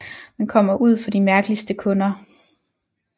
Man kommer ud for de mærkeligste kunder